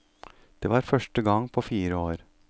Det var første gang på fire år.